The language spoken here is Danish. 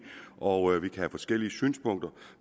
og have forskellige synspunkter